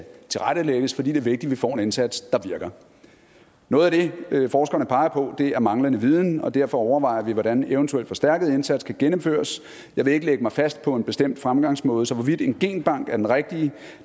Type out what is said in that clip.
tilrettelægges for det er vigtigt at vi får en indsats der virker noget af det forskerne peger på er manglende viden og derfor overvejer vi hvordan en eventuel forstærket indsats kan gennemføres jeg vil ikke lægge mig fast på en bestemt fremgangsmåde så hvorvidt en genbank er den rigtige